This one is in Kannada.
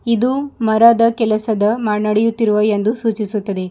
ಇದು ಮರದ ಕೆಲಸದ ನಡೆಯುತ್ತಿರುವ ಎಂದು ಸೂಚಿಸುತ್ತದೆ.